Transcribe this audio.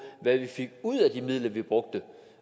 hvad vi fik ud af de midler vi brugte